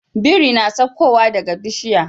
Biri na sakko wa daka bishiya